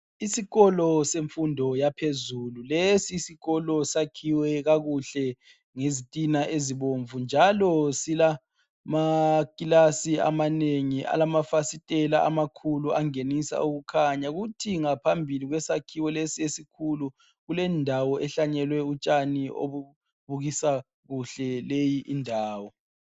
isikolo semfundo yaphezulu lesi sikolo sakhiwe kakuhle ngezitina ezibomvu njalo zilakilasi amanengi alamafasiteli amakhulu angenisa ukukhanya ngaphambili kwesakhiwo lesi esikhulu kulendawo ehlanyelwe utshani obubukisa kuhle leyindawo